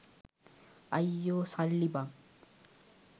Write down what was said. අයියෝ සල්ලි බං